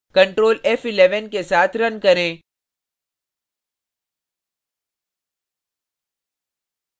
control f11 के साथ run करें